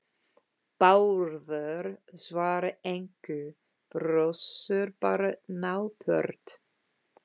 Bárður svarar engu, brosir bara napurt.